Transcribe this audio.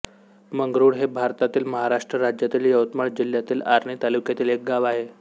मंगरूळ हे भारतातील महाराष्ट्र राज्यातील यवतमाळ जिल्ह्यातील आर्णी तालुक्यातील एक गाव आहे